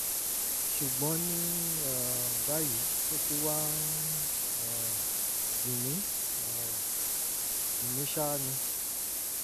ṣùgbọ́n ní um báyìí ó ti wá ń um dùn mí um dùn mí ṣáá ni um